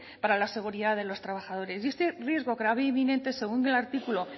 para la seguridad de los trabajadores y este riesgo grave e inminente según el artículo